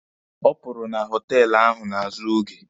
Ọ pụrụ na họtelụ ahụ n'azụ oge.